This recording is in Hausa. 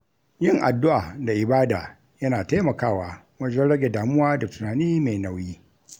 Yin addu’a da ibada yana taimakawa wajen rage damuwa da tunani mai nauyi.